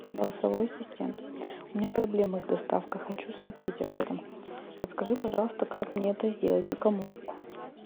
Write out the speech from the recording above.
голосовой ассистент у меня проблемы с доставкой хочу сообщить об этом подскажи пожалуйста как мне это сделать и кому